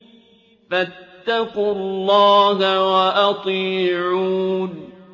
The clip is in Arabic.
فَاتَّقُوا اللَّهَ وَأَطِيعُونِ